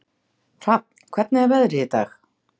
Hrafn, hvernig er veðrið í dag?